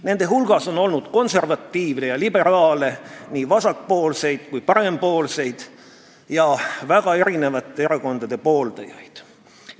Nende hulgas on olnud konservatiive ja liberaale, nii vasakpoolseid kui ka parempoolseid ja väga erinevate erakondade pooldajaid.